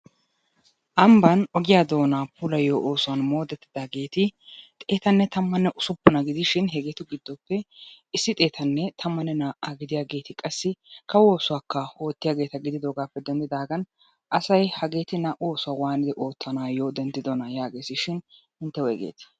Ambban ogiya doonaa puulayiyo oosuwan moodettidaageeti xeetanne tammanne usuppuna gidishin hegeetu giddoppe issi xeetanne tammanne naa''aa gidiyageeti, qassi kawo oosuwakka oottiyageeta gididoogaappe denddidaagan asay hageeti naa''u oosuwa waatidi oottanaayyo denddidonaa yaagees shin intte woygeetii?